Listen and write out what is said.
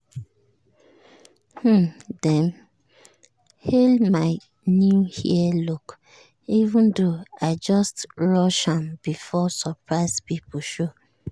um dem hail my new hair look even though i just rush am before surprise people show.